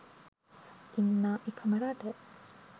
ඉන්නා එකම රට